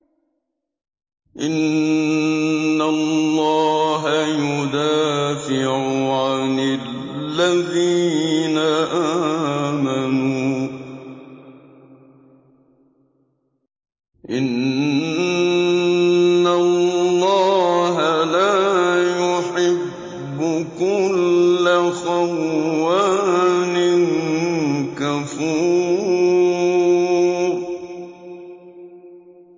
۞ إِنَّ اللَّهَ يُدَافِعُ عَنِ الَّذِينَ آمَنُوا ۗ إِنَّ اللَّهَ لَا يُحِبُّ كُلَّ خَوَّانٍ كَفُورٍ